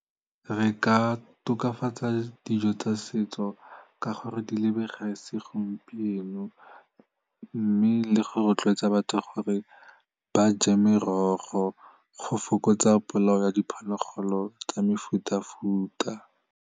Re ka tokafatsa dijo tsa setso ka gore di lebege segompieno mme le go rotloetsa batho gore ba je merogo go fokotsa polao ya diphologolo tsa mefutafuta.